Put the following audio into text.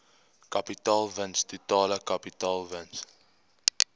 kapitaalwins totale kapitaalwins